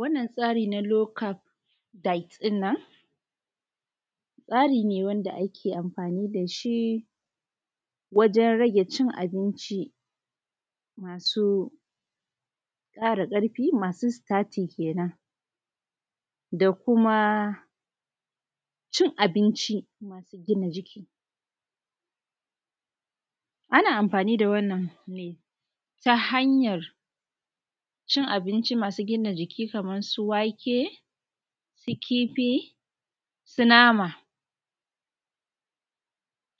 wannan tsa:ri na low ʧap diet ɗin nan tsa:ri ne wanda ake amfani da ʃi waʤen ra:ge ʧin abinʧi ma:su ƙa:ra ƙarfi ma:su sita:ti kenan da kuma ʧin abinʧi ma:su gina ʤiki ana amfani da wannan ne ta hanjar ʧin abinʧi ma:su gina ʤiki kamar su wa:ke su ki:fi su na:ma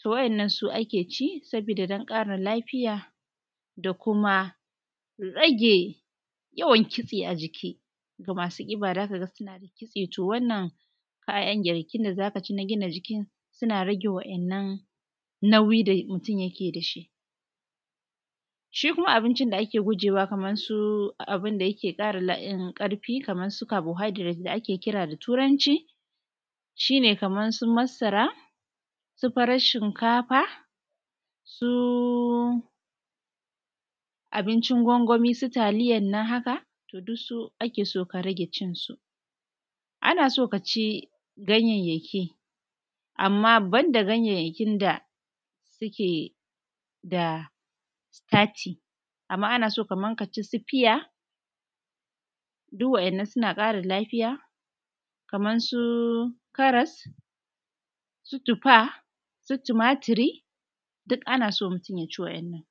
to wa’innan su ake ʧi sabo:da don ƙa:rin la:fija da kuma rage jawan kitse a ʤiki ga masu ƙi:ba za ka ga suna da ki:tse to wannan ka:jan girki:na za ka ʧi na gina ʤikin jana rage wa’innan naujin da mu:tum jake da ʃi ʃi kuma abinʧin da ake gu:ʤe ma wa kaman su abinda jake ƙa:ra ƙarfi kaman su ʧarbohjdrate da ake ki:ra da tu:ranʧi ʃi:ne kaman su masa:ra su farar ʃinka:fa su abinʧin gwangwani su ta:li:jan nan haka to duk su ake so ka rage ʧin su ana so ka ʧi ganjenjaki amma banda ganjenjaki: da suke da sita:ti amma ana so ka ʧi su fija duk wa’innan suna ƙa:ra la:fi:ja kaman su karas su tufa su timatiri duk ana so mutun ja ʧi wa’innan